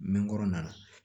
Mɛ n kɔrɔ na